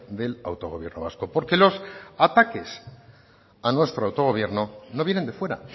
del autogobierno vasco porque los ataques a nuestro autogobierno no vienen de fuera